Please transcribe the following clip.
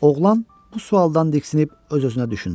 Oğlan bu sualdan diksinib öz-özünə düşündü.